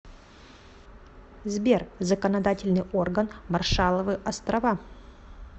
сбер законодательный орган маршалловы острова